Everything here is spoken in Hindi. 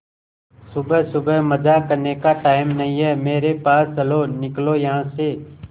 सुबह सुबह मजाक करने का टाइम नहीं है मेरे पास चलो निकलो यहां से